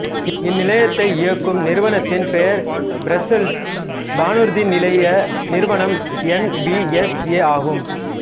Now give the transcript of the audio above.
இந்நிலையத்தை இயக்கும் நிறுவனத்தின் பெயர் பிரசெல்சு வானூர்திநிலைய நிறுவனம் என் வி எஸ் ஏ ஆகும்